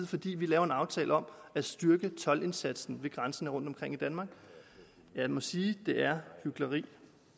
fordi vi laver en aftale om at styrke toldindsatsen ved grænsen rundtomkring i danmark jeg må sige at det er hykleri